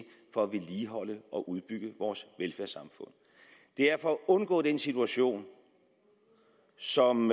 for at vedligeholde og udbygge vores velfærdssamfund det er for at undgå den situation som